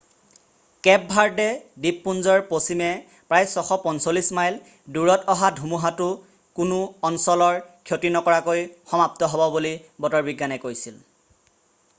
Cape Verde দ্বীপপুঞ্জৰ পশ্চিমে প্ৰায় 645 মাইল 1040 কিলোমিটাৰ দূৰত অহা ধুমুহাতো কোনো অঞ্চলৰ ক্ষতি নকৰাকৈ সমাপ্ত হ'ব বুলি বতৰবিজ্ঞানে কৈছে।